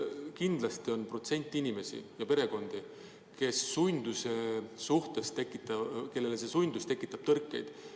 Kindlasti on teatud protsent inimesi ja perekondi, kelles see sundus tekitab tõrkeid.